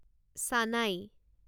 সানাই